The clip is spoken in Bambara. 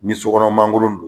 Ni sokɔnɔ mangolo don